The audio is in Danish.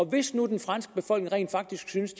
hvis nu den franske befolkning rent faktisk synes